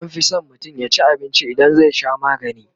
anfi San mutum yaci abinci idan zai Sha maganii